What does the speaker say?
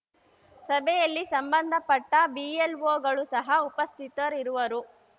ಸಭೆಯಲ್ಲಿ ಸಂಬಂಧಪಟ್ಟಬಿಎಲ್‌ಒಗಳು ಸಹ ಉಪಸ್ಥಿತರಿರುವರು